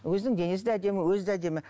өзінің денесі де әдемі өзі де әдемі